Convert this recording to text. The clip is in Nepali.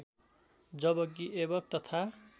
जबकि ऐबक तथा